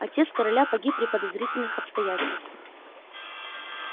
отец короля погиб при подозрительных обстоятельствах